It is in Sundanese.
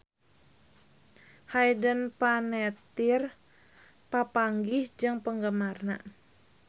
Hayden Panettiere papanggih jeung penggemarna